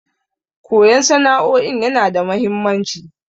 Koyan sana'o'in yana da mahimmanci.